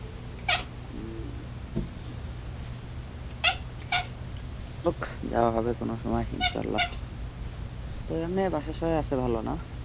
হোক যাওয়া হবে কোন সময় ইনশাল্লাহ। তবে আপনাদের বাসার সবাই আছে ভালো না?